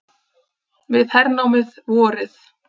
Við hernámið vorið